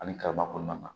Ani kaba kɔnɔna na